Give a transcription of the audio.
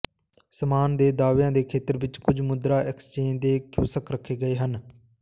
ਸਾਮਾਨ ਦੇ ਦਾਅਵਿਆਂ ਦੇ ਖੇਤਰ ਵਿੱਚ ਕੁਝ ਮੁਦਰਾ ਐਕਸਚੇਂਜ ਦੇ ਕਿਓਸਕ ਰੱਖੇ ਗਏ ਹਨ